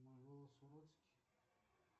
мой голос уродский